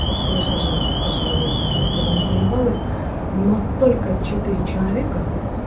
конечно же к сожалению так ни с кем и не поебалась но только четыре человека